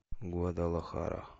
гвадалахара